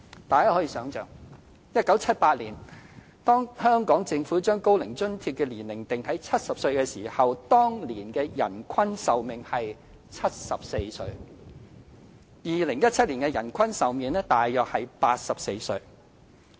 大家可以想象 ，1978 年當香港政府將高齡津貼的年齡定在70歲或以上時，當年的人均壽命約為74歲 ；2017 年的人均壽命則約為84歲。